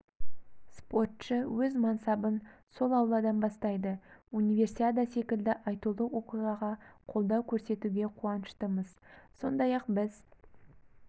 спортшы өз мансабын сол ауладан бастайды универсиада секілді айтулы оқиғаға қолдау көрсетуге қуаныштымыз сондай-ақ біз